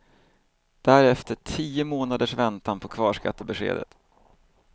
Därefter tio månaders väntan på kvarskattebeskedet.